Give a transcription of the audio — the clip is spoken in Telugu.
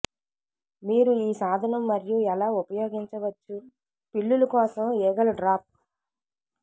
మీరు ఈ సాధనం మరియు ఎలా ఉపయోగించవచ్చు పిల్లులు కోసం ఈగలు డ్రాప్